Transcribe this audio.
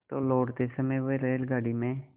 तो लौटते समय वह रेलगाडी में